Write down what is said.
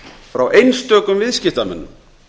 frá einstökum viðskiptamönnum